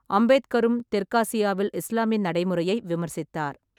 அம்பேத்கரும் தெற்காசியாவில் இஸ்லாமிய நடைமுறையை விமர்சித்தார்.